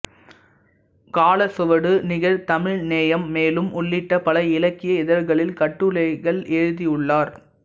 காலச்சுவடு நிகழ் தமிழ் நேயம் மேலும் உள்ளிட்ட பல இலக்கிய இதழ்களில் கட்டுரைகள் எழுதியுள்ளார்